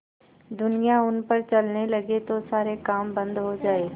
दुनिया उन पर चलने लगे तो सारे काम बन्द हो जाएँ